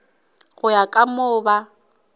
go ya ka moo ba